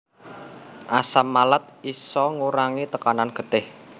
Asam malat isa ngurangi tekanan getih